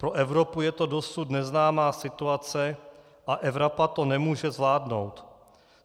Pro Evropu je to dosud neznámá situace a Evropa to nemůže zvládnout.